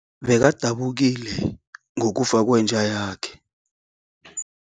Bekadabukile ngokufa kwenja yakhe.